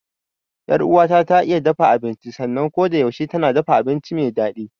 Yar uwata ta iya dafa abinci sannan kodayaushe tana dafa abinci me daɗi.